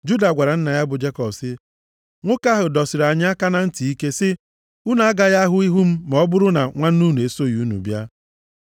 Juda gwara nna ya bụ Jekọb sị, “Nwoke ahụ dọsiri anyị aka na ntị ike sị, ‘Unu agaghị ahụ ihu m ma ọ bụrụ na nwanne unu esoghị unu bịa.’